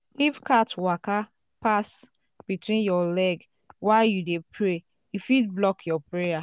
if um cat waka um pass um between your leg while you dey pray e fit block your prayer.